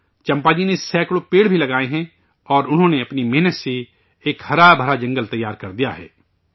چمپا جی نے سینکڑوں درخت بھی لگائے ہیں اور انہوں نے اپنی محنت سے ایک ہرابھراجنگل تیار کردیا ہے